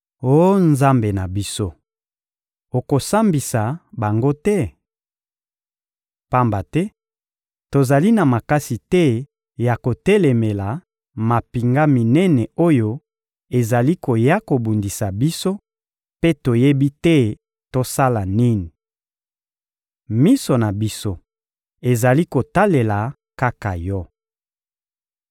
Oh Nzambe na biso, okosambisa bango te? Pamba te tozali na makasi te ya kotelemela mampinga minene oyo ezali koya kobundisa biso, mpe toyebi te tosala nini! Miso na biso ezali kotalela kaka Yo.»